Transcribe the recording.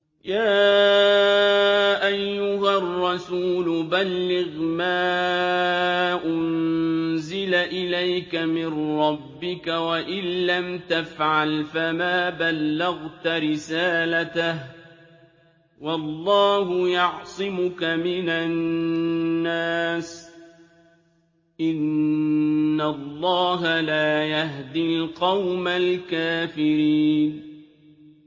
۞ يَا أَيُّهَا الرَّسُولُ بَلِّغْ مَا أُنزِلَ إِلَيْكَ مِن رَّبِّكَ ۖ وَإِن لَّمْ تَفْعَلْ فَمَا بَلَّغْتَ رِسَالَتَهُ ۚ وَاللَّهُ يَعْصِمُكَ مِنَ النَّاسِ ۗ إِنَّ اللَّهَ لَا يَهْدِي الْقَوْمَ الْكَافِرِينَ